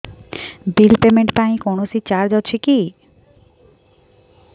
bill payment ପାଇଁ କୌଣସି charge ଅଛି କି